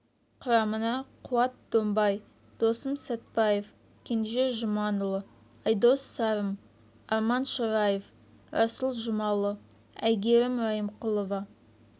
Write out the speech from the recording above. құрамына қуат домбай досым сәтпаев кенже жұманұлы айдос сарым арман шораев расул жұмалы әйгерім райымқұлова